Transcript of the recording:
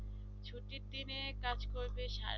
ছুটির দিনে কাজ করবে সারাদিন